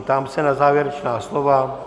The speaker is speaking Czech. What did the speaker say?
Ptám se na závěrečná slova.